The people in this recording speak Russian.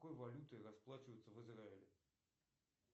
какой валютой расплачиваются в израиле